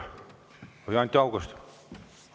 Või Anti Haugasel?